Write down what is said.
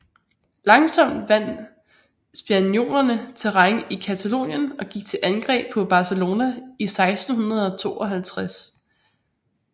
Langsomt vandt spaniolerne terræn i Catalonien og gik til angreb på Barcelona i 1652